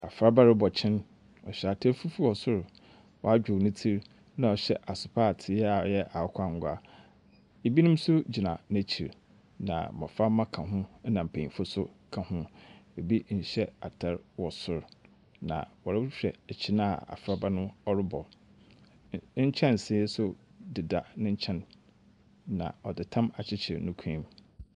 Afraba robɔ kyen. Ɔhyɛ atar fufuw wɔ sor. Wadwow ne tsir, na ɔhyɛ asopaatee a ɔyɛ akwanguaa. Ebinom nso gyina n'ekyir, na mbɔframba ka ho, ɛnna mpanyimfo nso ka ho. Ebi nhyɛ atar wɔ sor, na wɔrohwɛ kyen a afraba no robɔ no. n Nkyɛnsee nso deda ne nkyɛn, na ɔde tam akyekyere ne kɔn mu.